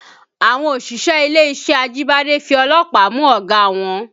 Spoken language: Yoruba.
Àwọn òṣìṣẹ́ ilé-iṣẹ́ Ajibade fi ọlọ́pàá mú ọ̀gá wọn